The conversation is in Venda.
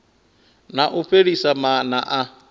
na u fhelisa maana a